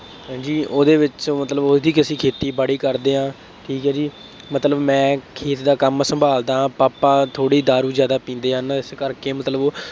ਹੈਂ ਜੀ ਉਹਦੇ ਵਿੱਚੋਂ ਮਤਲਬ ਉਹਦੀ ਕ ਅਸੀਂ ਖੇਤੀਬਾੜੀ ਕਰਦੇ ਹਾਂ, ਠੀਕ ਹੈ ਜੀ, ਮਤਲਬ ਮੈਂ ਖੇਤ ਦਾ ਕੰਮ ਸੰਭਾਲਦਾ, ਪਾਪਾ ਥੋੜ੍ਹੀ ਦਾਰੂ ਜ਼ਿਆਦਾ ਪੀਂਦੇ ਹਨ, ਇਸ ਕਰਕੇ ਮਤਲਬ ਉਹ